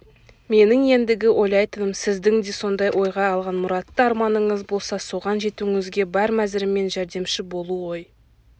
менің ендігі ойлайтыным сіздің де сондай ойға алған мұратты арманыңыз болса соған жетуіңізге бар мәзіріммен жәрдемші болу ғой